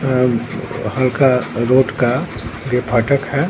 अम हल्का रॉड का दे फाटक है।